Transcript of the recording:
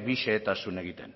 bi xehetasun egiten